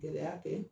Gɛlɛya kɛ